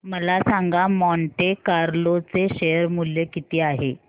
मला सांगा Monte Carlo चे शेअर मूल्य किती आहे